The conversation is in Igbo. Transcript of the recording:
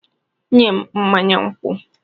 "Nye m mmanya nkwụ!"